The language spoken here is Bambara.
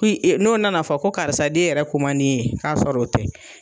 n'o nana fɔ ko karisa den yɛrɛ ko ma di e ye k'a sɔrɔ o tɛ.